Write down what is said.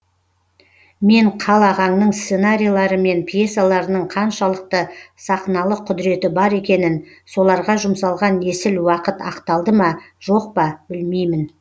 мен қал ағаңның сценарийлері мен пьесаларының қаншалықты сақналық құдіреті бар екенін соларға жұмсалған есіл уақыт ақталды ма жоқ па білмеймін